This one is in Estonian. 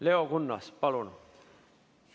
Leo Kunnas, palun!